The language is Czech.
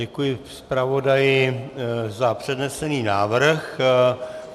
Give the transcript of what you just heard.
Děkuji zpravodaji za přednesený návrh.